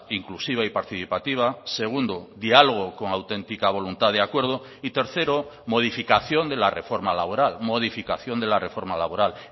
inclusiva y participativa segundo diálogo con auténtica voluntad de acuerdo y tercero modificación de la reforma laboral modificación de la reforma laboral